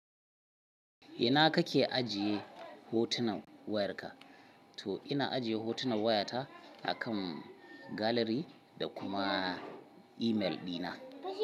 Ina kake ajiye hotunan wayarka? To ina ajiye hotunan wayata akan galeri da kuma imel ɗina.